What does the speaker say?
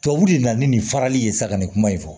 Tubabu de nana nin farali ye sa kan ni kuma in fɔ